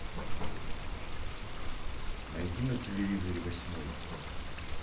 найди на телевизоре восьмой